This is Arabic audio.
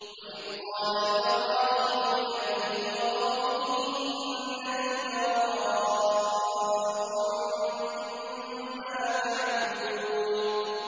وَإِذْ قَالَ إِبْرَاهِيمُ لِأَبِيهِ وَقَوْمِهِ إِنَّنِي بَرَاءٌ مِّمَّا تَعْبُدُونَ